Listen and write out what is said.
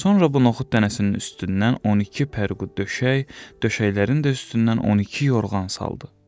Sonra bu noxud dənəsinin üstündən 12 pərqu döşək, döşəklərinin də üstündən 12 yorğan saldı.